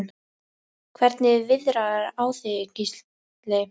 Hvernig viðrar á þig Gísli?